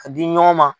Ka di ɲɔgɔn ma